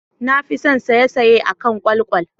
Na fi son saisaye akan kwalkwal.